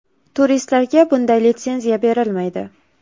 Turistlarga bunday litsenziya berilmaydi.